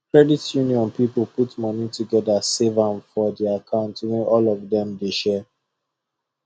credit union people put money together save am for the account wey all of them they share